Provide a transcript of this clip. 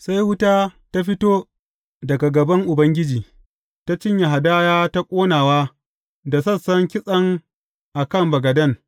Sai wuta ta fito daga gaban Ubangiji ta cinye hadaya ta ƙonawa da sassan kitsen a kan bagaden.